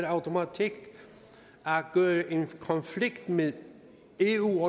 automatik at gøre en konflikt med eu